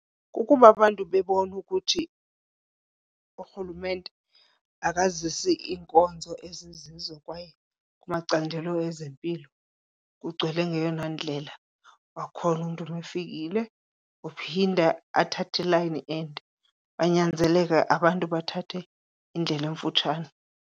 Kukuba abantu bebona ukuthi urhulumente akazisi iinkonzo ezizizo kwaye kumacandelo ezempilo kugcwele ngeyona ndlela, kwakhona uma umntu efikile uphinda athathe ilayini ende banyanzeleke abantu bathathe indlela emfutshane.